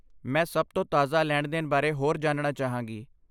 ਮੈਂ ਸਭ ਤੋਂ ਤਾਜ਼ਾ ਲੈਣ ਦੇਣ ਬਾਰੇ ਹੋਰ ਜਾਣਨਾ ਚਾਹਾਂਗੀ